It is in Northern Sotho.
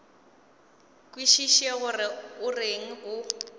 kwešiše gore o reng o